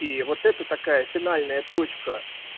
и вот это такая финальная точка